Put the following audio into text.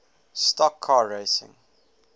stock car racing